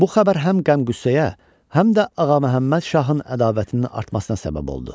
Bu xəbər həm qəm-qüssəyə, həm də Ağa Məhəmməd şahın ədavətinin artmasına səbəb oldu.